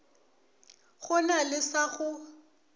go na le sa go